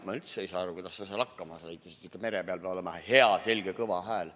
Ma üldse ei saa aru, kuidas ta seal hakkama sai, sest mere peal peab olema hea selge kõva hääl.